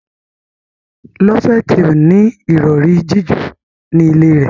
Loveth o ní Ìrọ̀rí jiju ní ilè rẹ.